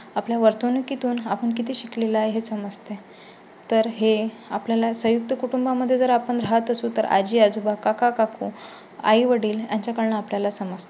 आपल्या वर्तणुकी तून आपण किती शिकलेला आहे समस्तें तर हे आपल्या ला संयुक्त कुटुंबा मध्ये जर आपण राहात असू तर आजी-आजोबा, काका- काकू, आई-वडील यांच्याकडून आपल्याला समजते.